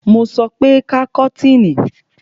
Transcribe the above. Mo sọ pé ká kọ́tìnì!